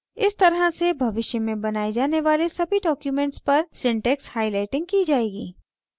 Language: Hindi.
इस तरह से भविष्य में बनाये जाने वाले सभी documents पर syntax highlighting की जाएगी